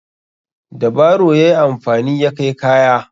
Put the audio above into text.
Da baro ya yi amfani ya kai kaya.